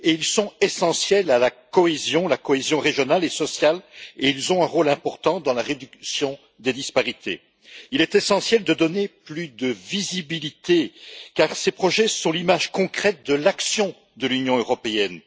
Ils sont essentiels à la cohésion régionale et sociale et ils ont un rôle important dans la réduction des disparités. Il est essentiel de donner plus de visibilité à ces projets, car ils sont l'image concrète de l'action de l'Union européenne.